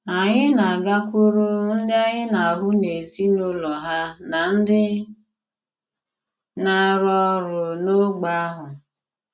Ànyị̀ na-àgàkwùrù ndị ànyị̀ na-hụ̀ n'èzí ùlọ ha na ndị na-àrụ̀ òrụ̀ n'ógbè ahụ.